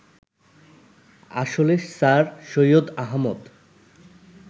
আসলে স্যার সৈয়দ আহমদ